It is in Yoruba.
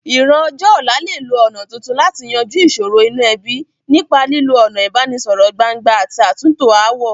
Ìran ọjọ́ ọ̀la lè lo ọ̀nà tuntun láti yanjú ìsòro inú ebí, nípa lílo ọ̀nà ìbánisọ̀rọ̀ gbangba àti àtúntò ááwọ̀.